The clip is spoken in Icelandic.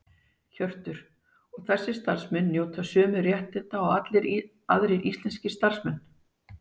Hjörtur: Og þessir starfsmenn njóta sömu réttinda og allir aðrir íslenskir starfsmenn?